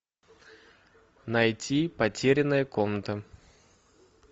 найти потерянная комната